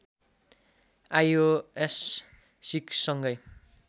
iOS सिक्ससँगै